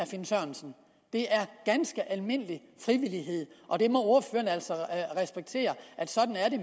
finn sørensen det er ganske almindelig frivillighed og må altså respektere at sådan er det